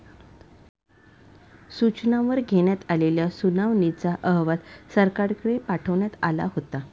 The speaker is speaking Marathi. सूचनांवर घेण्यात आलेल्या सुनावणीचा अहवाल सरकारकडे पाठवण्यात आला होता.